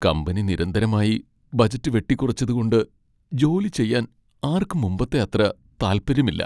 Company നിരന്തരമായി budget വെട്ടിക്കുറച്ചതുകൊണ്ട് ജോലി ചെയ്യാൻ ആർക്കും മുമ്പത്തെ അത്ര താല്പര്യമില്ല.